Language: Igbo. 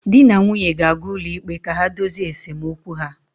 Di na nwunye ga-aga ụlọikpe ka ha dozie esemokwu ha